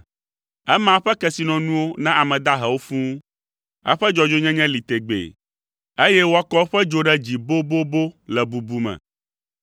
Ema eƒe kesinɔnuwo na ame dahewo fũu, eƒe dzɔdzɔenyenye li tegbee, eye woakɔ eƒe dzo ɖe dzi bobobo le bubu me.